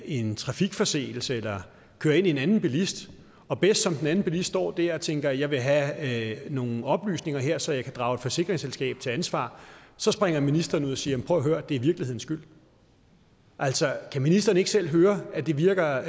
en trafikforseelse eller kører ind i en anden bilist og bedst som den anden bilist står der og tænker jeg vil have nogle oplysninger her så jeg kan drage et forsikringsselskab til ansvar så springer ministeren ud og siger jamen og hør det er virkelighedens skyld altså kan ministeren ikke selv høre at det virker